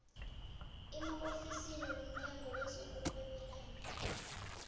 emaofisini womnyango wezokurhwebelana